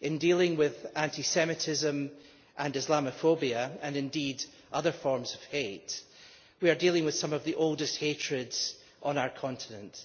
in dealing with anti Semitism and Islamophobia, and indeed other forms of hate, we are dealing with some of the oldest forms of hatred on our continent.